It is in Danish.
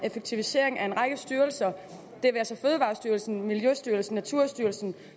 effektiviseringen af en række styrelser det være sig fødevarestyrelsen miljøstyrelsen og naturstyrelsen